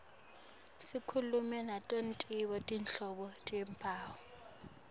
sikhulume nato tonkhe tinhlobo tebantfu